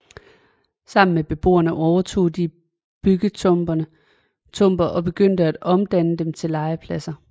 Sammen med beboere overtog de byggetomter og begyndte at omdanne dem til legepladser